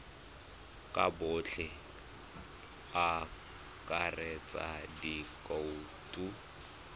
ka botlalo go akaretsa dikhoutu